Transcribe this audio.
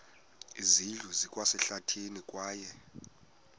zindlu zikwasehlathini kwaye